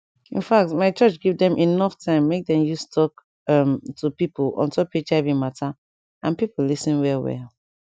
infact my church give dem enough time make dem use talk um to pipo ontop hiv mata and pipo lis ten well well